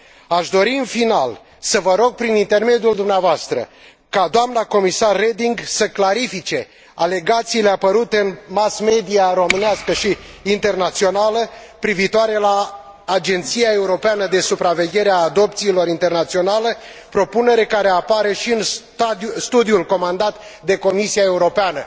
Aș dori, în final, să vă rog, prin intermediul dumneavoastră, ca doamna Comisar Reding să clarifice alegațiile apărute în mass media românească și internațională privitoare la Agenția Europeană de Supraveghere a Adopțiilor Internaționale, propunere care apare și în studiul comandat de Comisia Europeană.